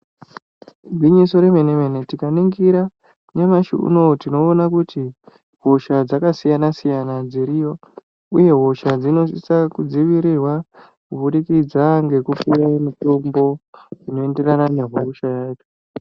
Igwinyiso remene-mene tikaringira nyamashi unouyu tinoona kuti hosha dzakasiyana-siyana dziriyo, uye hosha dzinosisa kudzivirirwa kubudikidza ngekupuve mitombo inoenderana nehosha yayo.